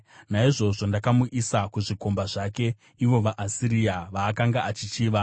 “Naizvozvo ndakamuisa kuzvikomba zvake, ivo vaAsiria, vaakanga achichiva.